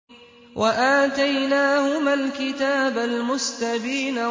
وَآتَيْنَاهُمَا الْكِتَابَ الْمُسْتَبِينَ